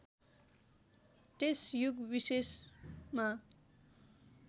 त्यस युग विशेषमा